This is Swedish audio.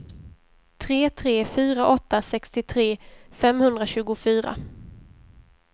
tre tre fyra åtta sextiotre femhundratjugofyra